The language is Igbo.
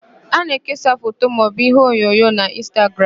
A na-ekesa foto maọbụ iheonyonyo n'Ịnstagram.